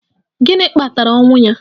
Gịnị kpatara ọnwụ ya?